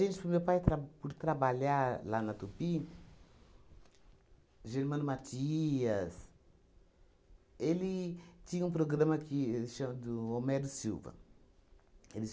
Isso por meu pai tra por trabalhar lá na Tupi, Germano Mathias, ele tinha um programa que chamado Homero Silva. Ele